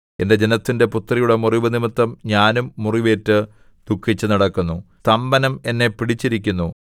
എന്റെ ജനത്തിന്റെ പുത്രിയുടെ മുറിവ് നിമിത്തം ഞാനും മുറിവേറ്റ് ദുഃഖിച്ചുനടക്കുന്നു സ്തംഭനം എന്നെ പിടിച്ചിരിക്കുന്നു